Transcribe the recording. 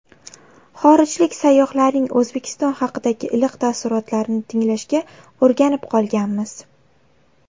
Xorijlik sayyohlarning O‘zbekiston haqidagi iliq taassurotlarini tinglashga o‘rganib qolganmiz.